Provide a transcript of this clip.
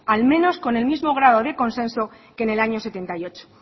al menos con el mismo grado de consenso que en el año setenta y ocho